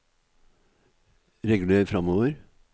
reguler framover